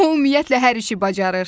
O ümumiyyətlə hər işi bacarır.